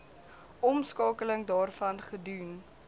omskakeling daarvan gedoen